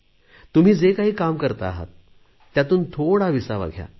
तुम्ही जे काही काम करता आहात त्यातून थोडा विसावा घ्या